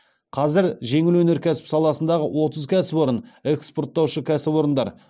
қазір жеңіл өнеркәсіп саласындағы отыз кәсіпорын экспортаушы кәсіпорындар